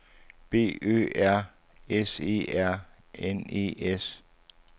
B Ø R S E R N E S